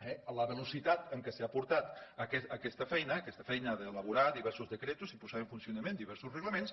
eh la velocitat en què s’ha portat aquesta feina aquesta feina d’elaborar diversos decrets i posar en funcionament diversos reglaments